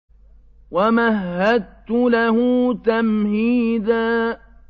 وَمَهَّدتُّ لَهُ تَمْهِيدًا